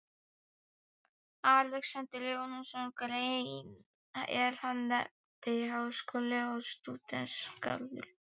Alexander Jóhannesson grein, er hann nefndi Háskóli og Stúdentagarður.